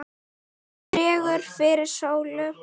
Dregur fyrir sólu